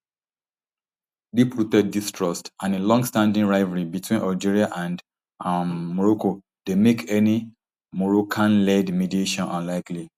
deeprooted distrust and a longstanding rivalry between algeria and um morocco dey make any moroccanled mediation unlikely